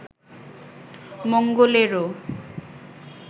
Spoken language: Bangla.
মঙ্গলেরও